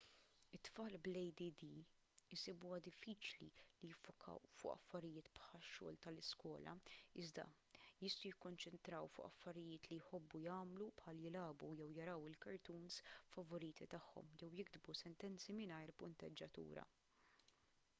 it-tfal bl-add isibuha diffiċli li jiffokaw fuq affarijiet bħax-xogħol tal-iskola iżda jistgħu jikkonċentraw fuq affarijiet li jħobbu jagħmlu bħal jilagħbu jew jaraw il-cartoons favoriti tagħhom jew jiktbu sentenzi mingħajr punteġġjatura